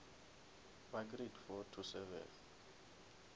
ba grade four to seven